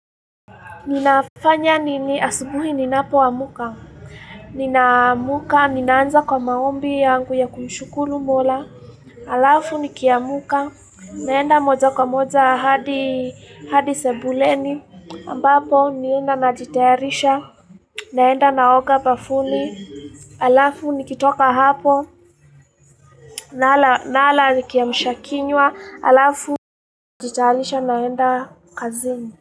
Ninafanya nini asubuhi ninapoa mka. Nina amuka, ninaanza kwa maombi yangu ya kumshukuru mola. Alafu ni kiamuka, naenda moja kwa moja hadi sebuleni. Ambapo nienda na jitaharisha, naenda naoga bafuni. Alafu ni kitoka hapo, nala kiamshakinywa. Alafu ni jitayarisha naenda kazini.